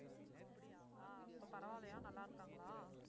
அப்படியா இப்ப பரவாயில்லையா நல்லா இருக்காங்களா?